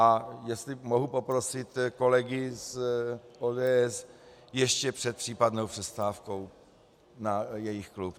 A jestli mohu poprosit kolegy z ODS - ještě před případnou přestávku na jejich klub.